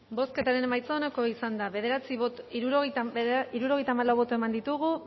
bozketaren emaitza onako izan da hirurogeita hamabost eman dugu